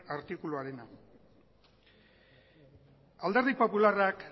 artikuluarena alderdi popularrak